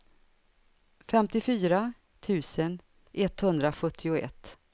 femtiofyra tusen etthundrasjuttioett